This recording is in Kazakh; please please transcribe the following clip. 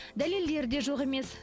дәлелдер де жоқ емес